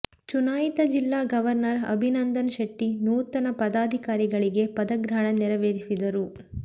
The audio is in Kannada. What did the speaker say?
ಚುನಾಯಿತ ಜಿಲ್ಲಾ ಗವರ್ನರ್ ಅಭಿನಂದನ್ ಶೆಟ್ಟಿ ನೂತನ ಪದಾಧಿಕಾರಿಗಳಿಗೆ ಪದಗ್ರಹಣ ನೆರೆವೇರಿಸಿದರು